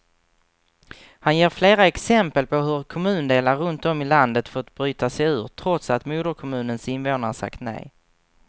Han ger flera exempel på hur kommundelar runt om i landet fått bryta sig ur, trots att moderkommunens invånare sagt nej.